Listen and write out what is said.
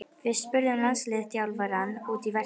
Við spurðum landsliðsþjálfarann út í verkefnið.